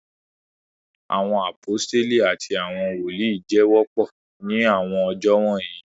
Awọn aposteli ati awọn woli jẹ wọpọ ni awọn ọjọ wọnyi